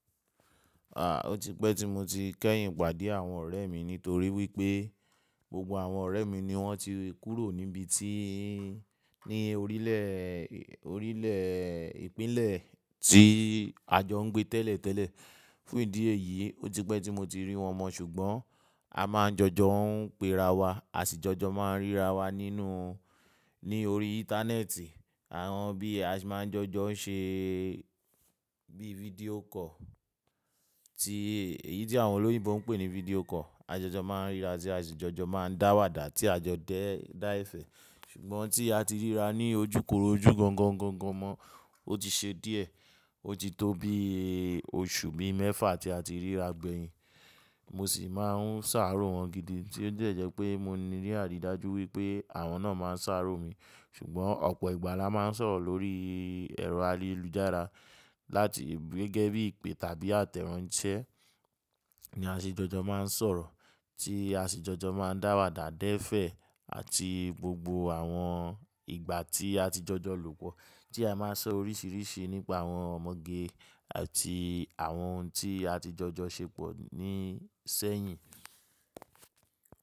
À, ó ti pẹ́ tí mo ti kẹ́yìn pàdé àwọn ọ̀rẹ́ mi nítorí wípé gbogbo àwọn ọ̀rẹ́ mi ni wọ́n ti kúrò níbi tí í ní orílẹ̀, orílẹ̀ ìpínlẹ̀ tí a jọ ń gbé tẹ́lẹ̀ tẹ́lẹ̀. Fún ìdí èyí, ó ti pẹ́ tí mo ti rí wọn mọ́ ṣùgbọ́n a máa ń jọjọ ń pe ra wa, àsìjọjọ máa ń ríra wa nínú, ní orí íńtánẹ́ẹ̀tì. Àwọn bí a ṣe máa ń jọjọ ń ṣe bí fidio koolu tí èyí tí àwọn olóyìnbo ń pè ní video call. A de jọ máa ń ríra sí, àsìjọjọ máa ń dáwàdà tí a jọ dẹ́ẹ́ dá ẹ́fẹ̀ẹ́. Ṣùgbọ́n tí a ti ríra ní ojúkoró ojú gan gan gan gan mọ́, ó ti ṣe díẹ̀. Ó ti tó bí oṣù bí mẹ́fà tí a ti ríra gbẹ̀yìn. Mo sì máa ń ṣàárò wọ́n gidi tí ó jẹ̀jẹ̀ pé mo ní rí àrídájú wípé àwọn náà máa ń ṣàárò mi. Ṣùgbọ́n ọ̀pọ̀ ìgbà la máa ń sọ̀rọ̀ lórí ẹ̀rọ ayélujára láti gẹ́gẹ́ bí ìpè tàbí àtẹ̀ránsẹ́ ní àsìjọjọ máa ń sọ̀rọ̀ tí àsìjọjọ máa ń dáwàdà dẹ́fẹ̀ẹ́ àti gbogbo àwọn ìgbà tí a ti jọjọ lòpọ̀ tí a máa ń sọ oríṣìíríṣìí nípa àwọn ọmọge àti àwọn ohun tí a ti jọjọ ṣe pọ̀ ní sẹ́yìn.